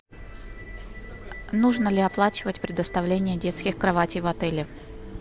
нужно ли оплачивать предоставление детских кроватей в отеле